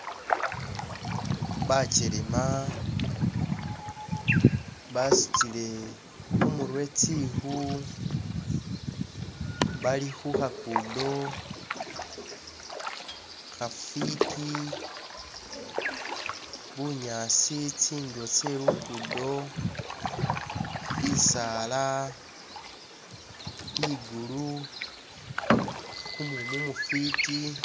Bakyelema basutile khumurwe tsikhu bali khukhakudo khafiti bunyaasi tsindulo tse lukudo bisaala ligulu kumumu mufiti